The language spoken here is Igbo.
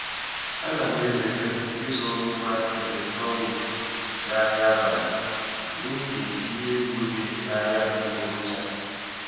A na m ezere ịzụrụ ngwa eletrọnik um n'ahịa abalị n'ihi ihe egwu dị n'ahịa adịgboroja.